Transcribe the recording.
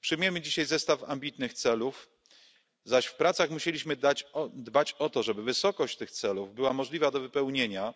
Przyjmujemy dzisiaj zestaw ambitnych celów, zaś w pracach musieliśmy dbać o to, żeby wysokość tych celów była możliwa do wypełnienia